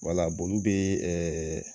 Wala olu bɛ